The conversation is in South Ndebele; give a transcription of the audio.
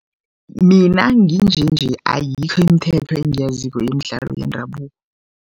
Mina nginje nje, ayikho imithetho engiyaziko yemidlalo yendabuko.